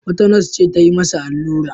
Wata nas ce ta yi masa allura.